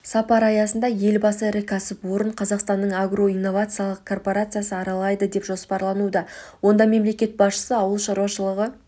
сапар аясында елбасы ірі кәсіпорын қазақстанның агроинновациялық корпорациясы аралайды деп жоспарлануда онда мемлекет басшысы ауыл шаруашылығы